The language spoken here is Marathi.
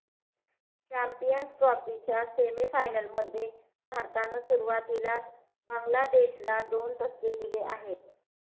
चॅम्पियन्स ट्रॉफीच्या सेमी फायनलमध्ये भारतानं सुरुवातीलाच बांग्लादेशला दोन धक्के दिले आहेत